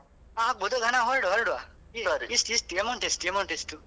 ಆ ಆಗ್ಬೋದು ಹ ನಾವು ಹೊರಡುವ ಹೊರಡುವ ಎಷ್ಟು ಎಷ್ಟು. amount ಎಷ್ಟು amount ಎಷ್ಟು?